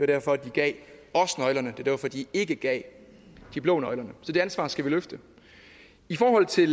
derfor de gav os nøglerne og var derfor de ikke gav de blå nøglerne så det ansvar skal vi løfte i forhold til